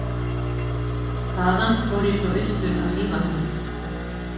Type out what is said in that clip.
Þaðan fór ég svo austur að Mývatni.